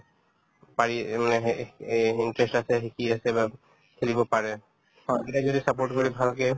পাৰি যোনে সেই এহ্ এই interest আছে শিকি আছে বা খেলিব পাৰে সেইকেইটাই যদি support কৰি ভালকে